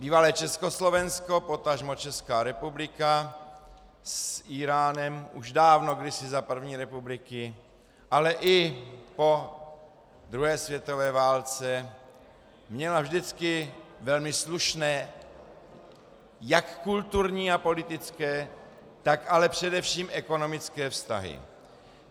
Bývalé Československo, potažmo Česká republika, s Íránem už dávno, kdysi za první republiky, ale i po druhé světové válce měla vždycky velmi slušné jak kulturní a politické, tak ale především ekonomické vztahy.